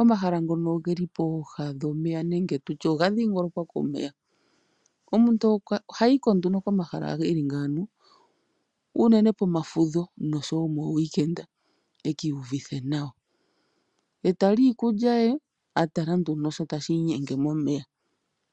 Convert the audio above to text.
Omahala ngono hatu adha guudha omeya nenge tutye oga dhiingolokwa komeya. Omuntu ohayi ko nduno komahala ngono eli ngawo, unene komafudho oshowo moowiikenda ekiiyuvithe nawa, etali iikulya ye atala sho tashi inyenge momeya.